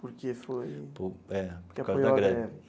Porque foi... É, por causa da greve.